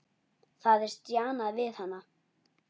Það er stjanað við hana.